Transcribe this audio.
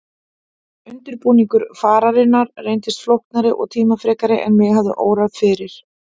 Undirbúningur fararinnar reyndist flóknari og tímafrekari en mig hafði órað fyrir.